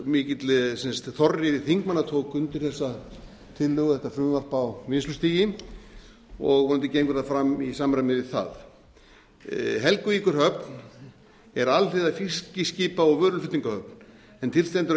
mikill þorri þingmanna tók undir þessa tillögu þetta frumvarp á vinnslustigi og vonandi gengur það fram í samræmi við það helguvíkurhöfn er alhliða fiskiskipa og vöruflutningahöfn en til stendur að gera